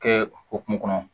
Kɛ hokumu kɔnɔ